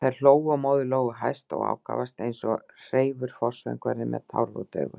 Þær hlógu og móðir Lóu hæst og ákafast, eins og hreifur forsöngvari með tárvot augu.